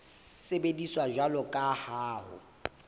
sebediswa jwalo ka ha ho